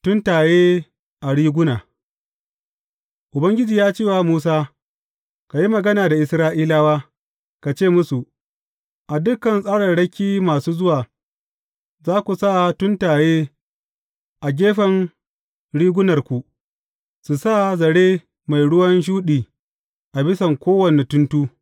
Tuntaye a riguna Ubangiji ya ce wa Musa, Ka yi magana da Isra’ilawa, ka ce musu, A dukan tsararraki masu zuwa, za ku sa tuntaye a gefen rigunarku, su sa zare mai ruwan shuɗi a bisan kowane tuntu.